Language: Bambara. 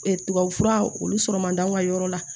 tubabufura olu sɔrɔ man d'an ka yɔrɔ la